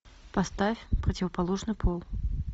поставь противоположный пол